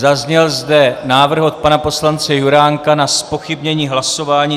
Zazněl zde návrh od pana poslance Juránka na zpochybnění hlasování.